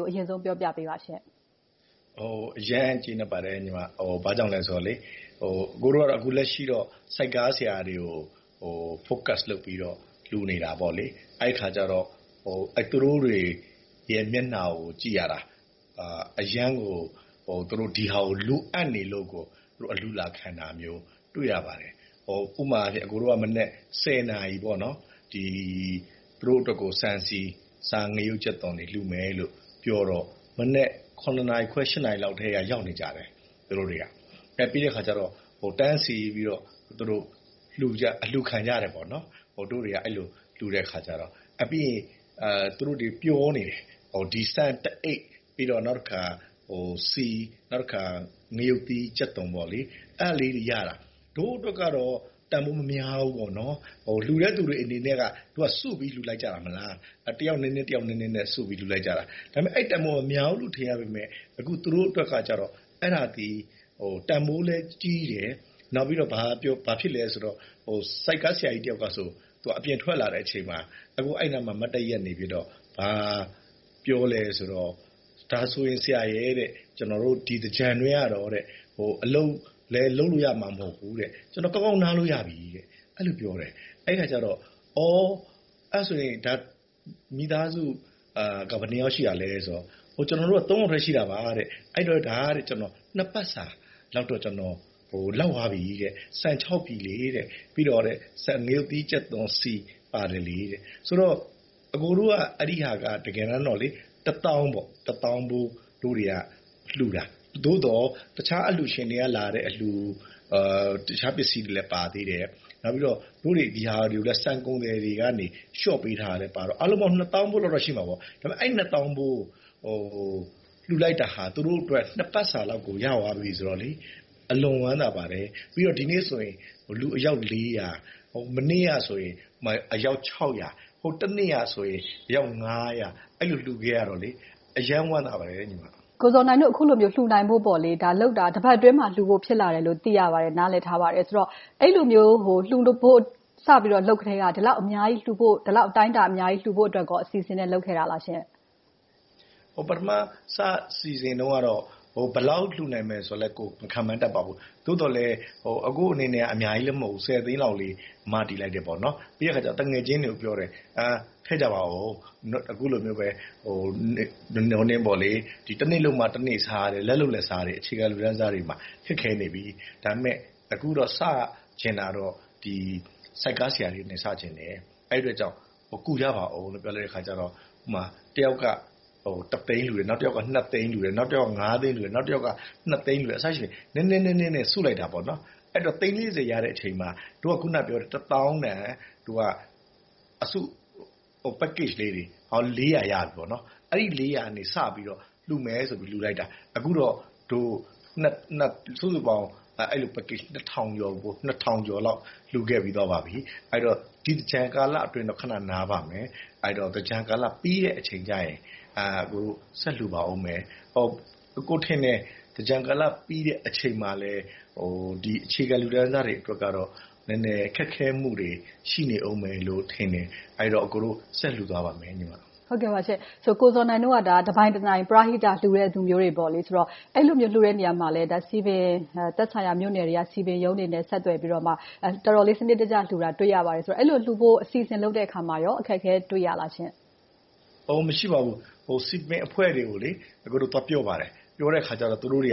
ကို အရင်ဆုံးပြောပြပေးပါရှင့်။ အရမ်းကျေနပ်ပါတယ်။ ဘာကြောင့်လဲဆိုတော့ အကိုတို့က အခုလက်ရှိတော့ ဆိုက်ကားဆရာတွေကို focus လုပ်ပြီးတော့ လှူဒါန်းနေတာ။ အဲဒီအခါကြတော့ သူတို့တွေရဲ့ မျက်နှာကိုကြည့်ရတာ အရမ်းကို သူတို့ ဒီဟာကို လိုအပ်နေလို့ အလှူလာခံတာမျိုးကို တွေ့ရပါတယ်။ ဥပမာ အကိုတို့က မနက် နာရီမှာ သူတို့အတွက်ကို ဆန်၊ ဆီ၊ ငရုတ်၊ ကြက်သွန်တွေ လှူမယ်လို့ပြောတော့ မနက် နာရီခွဲ နာရီလောက်ထဲက ရောက်နေကြတယ်။ ပြီးတဲ့အခါကြတော့ တန်းစီးပြီးတော့ အလှူခံကြတယ်။ ပြီးတော့ သူတို့တွေ ပျော်နေကြတယ်။ ဆန်တစ်အိတ်၊ နောက်တခါ ဆီ၊ ငရုတ်သီး၊ ကြက်သွန်လေးတွေရတာ ဒို့အတွက်ကတော့ တန်းဖိုးမများဘူး။ လှူတဲ့လူတွေအတွက်က စုပြီးလှူလိုက်ကြတာ။ တယောက်နည်းနည်းနဲ့ စုပြီးလှူလိုက်ကြတာ။ အဲဒီလို တန်းဖိုးမများဘူး ထင်ရပေမယ့် သူတို့အတွက်ကြတော့ အဲဒါသည် တန်းဖိုးလည်းကြီးတယ်။ နောက်ပြီးတော့ ဘာဖြစ်လဲဆိုတော့ ဆိုက်ကားဆရာကြီးတယောက်ကဆို သူအပြင်ထွက်လာတဲ့အချိန်မှာ အဲဒီနားမှာ မတ်တပ်ရပ်ပြီးတော့ ဘာပြောသလဲဆိုတော့ “ဒါဆိုရင် ဆရာရယ်.. ကျနော်တို့ ဒီသင်္ကြန်အတွင်းကတော့ အလုပ်လဲလုပ်လို့ရမှာ မဟုတ်ဘူး။ ကျနော် ကောင်းကောင်းနားလို့ရပြီ” လို့ပြောတယ်။ အဲဒီအခါကြတော့ “မိသားစု ဘယ်လောက်ရှိတာလဲ။” ဆိုတော့ “ကျနော်တို့က ယောက်ထဲ ရှိတာပါ။ အဲဒီတော့ နှစ်ပတ်စာလောက်တော့ လောက်သွားပြီ။ ဆန် ပြည်၊ ငရုတ်သီး၊ ကြက်သွန်၊ ဆီ ပါတယ်။” ဆိုတော့ အကိုတို့က တကယ်တမ်းတော့ တစ်သောင်းဖိုးလှူတာ။ သို့သော် တခြားအလှူရှင်တွေကလာတဲ့ အလှူ၊ တခြားပစ္စည်းတွေလည်းပါသေးတယ်။ နောက်ပြီးတော့ ဒီဟာလှူတာ ဆန်ကုန်သည်တွေက လျှော့ပေးထားတာလည်းပါတော့ အားလုံးပေါင်း နှစ်သောင်းဖိုးလောက်တော့ ရှိမှာပေါ့။ အဲဒီနှစ်သောင်းဖိုး လှူလိုက်တာဟာ သူတို့အတွက် နှစ်ပတ်စာလောက် ရသွားပြီဆိုတော့ အလွန်ဝမ်းသာပါတယ်။ ပြီးတော့ ဒီနေ့ဆိုရင် လူအယောက် ။ မနေ့ကဆိုရင် အယောက် ၊ တနေ့ကဆိုရင် အယောက် အဲဒီလို လှူခဲ့ရတော့ အရမ်းဝမ်းသာပါတယ်။ ကိုဇော်နိုင်တို့ အခုလို လှူနိုင်ဖို့ ဒါလုပ်တာ တစ်ပတ်အတွင်းမှာ ဖြစ်လာတယ်လို့ သိရပါတယ်။ နားလည်ထားပါတယ်။ အဲဒီလိုမျိုး လှူဖို့ စလုပ်ကတည်းက ဒီလောက်အတိုင်းအတာ အများကြီးလှူဖို့အတွက် အစီအစဉ်နဲ့ လုပ်ခဲ့တာလားရှင့်။ ပထမ စစီစဉ်တုန်းကတော့ ဘယ်လောက်လှူမယ်ဆိုတာလဲ မခန့်မှန်းတတ်ပါဘူး။ သို့သော်လဲ အကိုအနေနဲ့ အများကြီးလဲ မဟုတ်ဘူး၊ ဆယ်သိန်းလောက်လေး မတည်လိုက်တယ်။ ပြီးတော့ သူငယ်ချင်းတွေကိုပြောတယ် “ထည့်ဝင်ကြပါအုံး။ အခုလိုမျိုးပဲ တနေ့လုပ်မှ တနေ့စား လက်လုပ်လက်စားတွေ၊ အခြေခံလူတန်းစားတွေမှာ ခက်ခဲနေပြီ။ ဒါပေမဲ့ အခုတော့ စချင်တာတော့ ဆိုက်ကားဆရာတွေနဲ့ စချင်တယ်။ အဲဒီအတွက်ကြောင့် ကူကြပါအုံး” လို့ ပြောလိုက်တဲ့အခါကြတော့ ဥပမာ တစ်ယောက်က တစ်သိန်းလှူတယ်။ နောက်တစ်ယောက်က နှစ်သိန်းလှူတယ်။ နောက်တစ်ယောက်က ငါးသိန်းလှူတယ်။ နောက်တစ်ယောက်က နှစ်သိန်းလှူတယ် အစရှိသဖြင့် နည်းနည်းနဲ့ စုလိုက်တာ သိန်း ရရှိတဲ့အချိန်မှာ ဒို့က အခုနပြောတဲ့ တစ်သောင်းတန် အစု package လေးတွေ ရပြီ။ အဲဒီ ကနေ စပြီးတော့ လှူမယ်ဆိုပြီး လှူလိုက်တာ အခုတော့ စုစုပေါင်း အဲဒီလို package ကျော်လောက် လှူခဲ့ပြီးပါပြီ။ အဲဒီတော့ ဒီသင်္ကြန်ကာလအတွင်းတော့ ခဏနားပါမယ်။ သင်္ကြန်ကာလပြီးတဲ့အချိန်ကြရင် ဆက်လှူပါအုံးမယ်။ အကိုထင်တယ် သင်္ကြန်ပြီးတဲ့ကာလအချိန်မှာလည်း ဒီအခြေခံလူတန်းစားတွေအတွက်တော့ ခက်ခဲမှုတွေ ရှိနေအုံးမယ်လို့ ထင်တယ်။ အဲဒီတော့ အကိုတို့ ဆက်လှူသွားပါမယ်။ ကိုဇော်နိုင်တို့က တနိုင်တပိုင် ပရဟိတ လှူဒါန်းကြသူတွေ။ အဲဒီလိုမျိုး လှူတဲ့နေရာမှာ စည်ပင်တွေ သက်ဆိုင်ရာမြို့နယ်တွေက စည်ပင်ရုံးတွေနဲ့ ဆက်သွယ်ပြီးမှ တော်တော်လေး စနစ်တကျလှူတာကို တွေ့ရပါတယ်။ အဲဒီလုပ်ဖို့ အစီအစဉ်လုပ်တဲ့အခါမှာ အခက်အခဲ တွေ့ရပါလားရှင့်။ မရှိပါဘူး။ စည်ပင်အဖွဲ့တွေကို အကိုတို့ သွားပြောပါတယ်။ သွားပြောတဲ့အခါမှာလည်း သူတို့တွေ